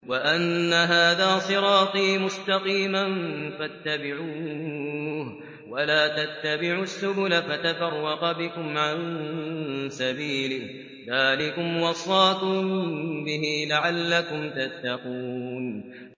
وَأَنَّ هَٰذَا صِرَاطِي مُسْتَقِيمًا فَاتَّبِعُوهُ ۖ وَلَا تَتَّبِعُوا السُّبُلَ فَتَفَرَّقَ بِكُمْ عَن سَبِيلِهِ ۚ ذَٰلِكُمْ وَصَّاكُم بِهِ لَعَلَّكُمْ تَتَّقُونَ